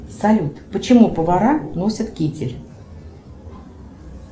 салют почему повара носят китель